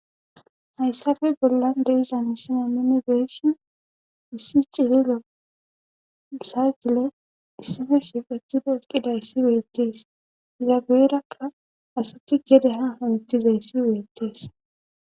Hayssabe bollan deiza misina mimibeeshin issi cililo msaagile issife shiqatido eqqidayssi weettees izageerakka asati gede ha hunittizayssi weettees.